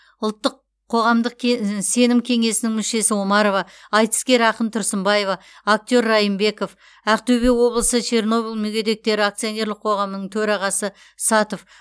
ұлттық қоғамдық сенім кеңесінің мүшесі омарова айтыскер ақын тұрсынбаева актер райынбеков ақтөбе облысы чернобыль мүгедектері акционерлік қоғамының төрағасы сатов